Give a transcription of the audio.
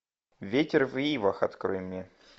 ветер в ивах открой мне